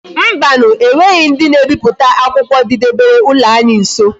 Mbanu e nweghi ndi na ebiputa akwukwo di debere ulo anyi nso